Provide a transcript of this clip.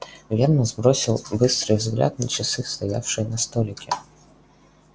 венус бросил быстрый взгляд на часы стоявшие на столике